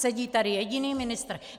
Sedí tady jediný ministr.